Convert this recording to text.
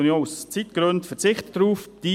Aus Zeitgründen verzichte ich darauf einzugehen.